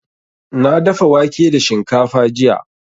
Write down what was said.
Na dafa wake da shinkafa jiya.